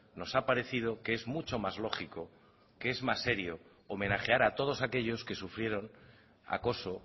nos ha parecido que es mucho más lógico que es más serio homenajear a todos aquellos que sufrieron acoso